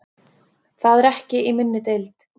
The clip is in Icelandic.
Það er ekki í minni deild.